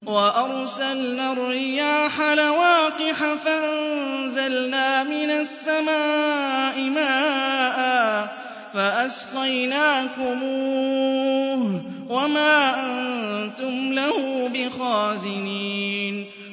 وَأَرْسَلْنَا الرِّيَاحَ لَوَاقِحَ فَأَنزَلْنَا مِنَ السَّمَاءِ مَاءً فَأَسْقَيْنَاكُمُوهُ وَمَا أَنتُمْ لَهُ بِخَازِنِينَ